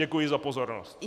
Děkuji za pozornost.